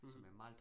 Mh